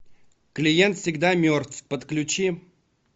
клиент всегда мертв подключи